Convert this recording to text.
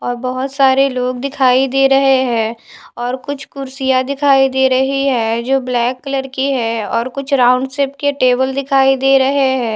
और बहुत बोहोत सारे लोग दिखाई दे रहे हैं और कुछ कुर्सियाँ दिखाई दे रही हैं जो ब्लैक कलर की हैं और कुछ राउंड शेप के टेबल दिखाई दे रहे हैं।